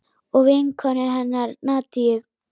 Og vinkonu hennar Nadiu.